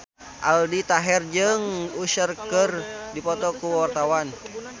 Aldi Taher jeung Usher keur dipoto ku wartawan